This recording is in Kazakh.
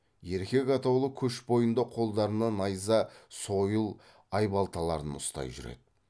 еркек атаулы көш бойында қолдарына найза сойыл айбалталарын ұстай жүреді